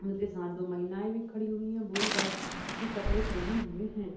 उनके साथ दो महिलाएं भी खड़ी हुई है वो भी भाईट के कपड़े पेहने हुएं हैं।